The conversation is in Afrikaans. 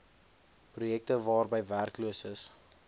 projekte waarby werkloses